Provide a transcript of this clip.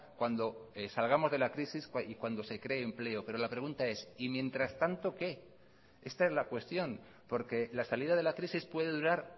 cuando salgamos de la crisis y cuando se cree empleo pero la pregunta es y mientras tanto qué esta es la cuestión porque la salida de la crisis puede durar